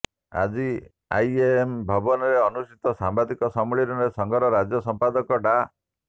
ଆଜି ଆଇଏମ୍ଏ ଭବନରେ ଅନୁଷ୍ଠିତ ସାମ୍ବାଦିକ ସମ୍ମିଳନୀରେ ସଂଘର ରାଜ୍ୟ ସଂପାଦକ ଡା